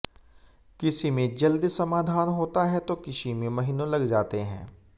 किसी में जल्दी समाधान होता है तो किसी में महीनों लग जाते हैं